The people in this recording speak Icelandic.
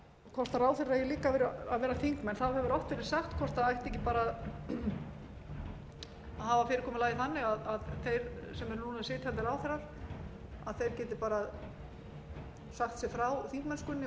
hvort ráðherrar eigi líka að vera þingmenn hefur oft verið sagt hvort það ætti ekki bara að hafa fyrirkomulagið þannig að þeir sem eru núna sitjandi ráðherrar geti sagt sig frá þingmennskunni og varamaður tekið við eins og